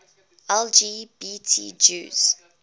lgbt jews